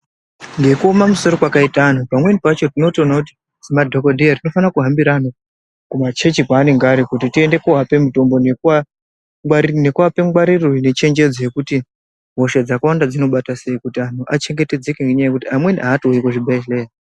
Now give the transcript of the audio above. Ngekuome misoro kwakaita antu pamwe pacho tinotoona kuti semadhokodheya tinofana kuhambira antu kumachechi kwaanenge ari kuti tiende koape mitombo nekuape ngwariro nechenjedzo yekuti hosha dzakawanda dzinobata sei kuti antu achengetedzeke ngenyaya yekuti amweni aatouyi kuzvibhedhlera